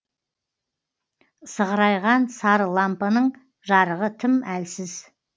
сығырайған сары лампаның жарығы тым әлсіз